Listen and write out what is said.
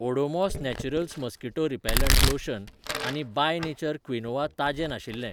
Odomos naturals mosquito repellent lotion आनी by nature quinoa ताजें नाशिल्ले.